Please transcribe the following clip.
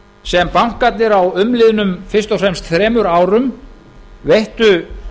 sem bankarnir á umliðnum fyrst og fremst þremur árum veittu